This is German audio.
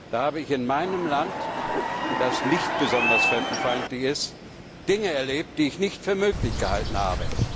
Da habe ich in meinem Land, das nicht besonders fremdenfeindlich ist, Dinge erlebt, die ich nicht für möglich gehalten habe.